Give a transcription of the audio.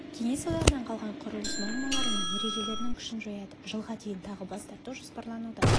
кеңес одағынан қалған құрылыс нормалары мен ережелерінің күшін жояды жылға дейін тағы бас тарту жоспарлануда